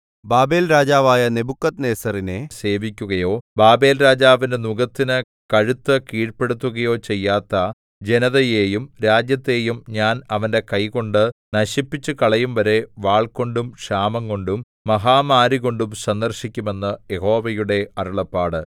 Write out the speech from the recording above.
ബാബേൽരാജാവായ നെബൂഖദ്നേസരിനെ സേവിക്കുകയോ ബാബേൽരാജാവിന്റെ നുകത്തിന് കഴുത്തു കീഴ്പെടുത്തുകയോ ചെയ്യാത്ത ജനതയെയും രാജ്യത്തെയും ഞാൻ അവന്റെ കൈകൊണ്ട് നശിപ്പിച്ചുകളയുംവരെ വാൾകൊണ്ടും ക്ഷാമംകൊണ്ടും മഹാമാരികൊണ്ടും സന്ദർശിക്കും എന്ന് യഹോവയുടെ അരുളപ്പാട്